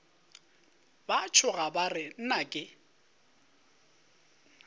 ba tšhoga ba re nnake